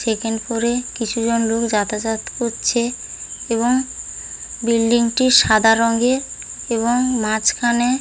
check in করে কিছু জন লোক যাতাযাত করছে এবং বিল্ডিং -টি সাদা রঙের এবং মাঝখানে --